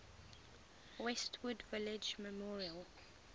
westwood village memorial